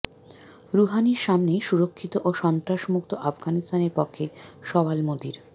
রুহানির সামনেই সুরক্ষিত ও সন্ত্রাসমুক্ত আফগানিস্তানের পক্ষে সওয়াল মোদির